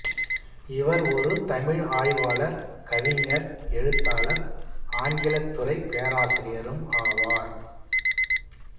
இவர் ஒரு தமிழ் ஆய்வாளர் கவிஞர் எழுத்தாளர் ஆங்கிலத்துறை பேராசிரியரும் ஆவார்